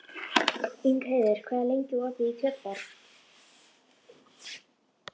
Ingheiður, hvað er lengi opið í Kjötborg?